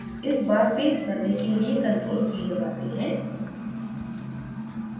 इस बार paste करने के लिए ctrl + v दबाते हैं